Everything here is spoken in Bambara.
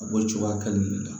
A b'o cogoya kelen de la